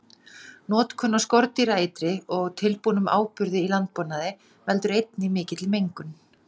Notkun á skordýraeitri og tilbúnum áburði í landbúnaði veldur einnig mikilli mengun.